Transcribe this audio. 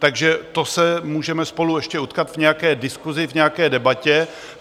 Takže to se můžeme spolu ještě utkat v nějaké diskusi, v nějaké debatě.